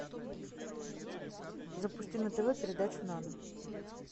запусти на тв передачу нано